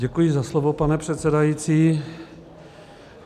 Děkuji za slovo, pane předsedající.